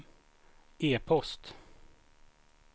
e-post